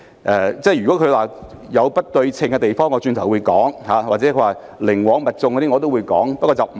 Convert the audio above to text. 議員認為有不對稱的地方或寧枉勿縱，我稍後會再作討論。